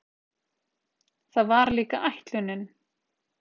Það var líka ætlunin.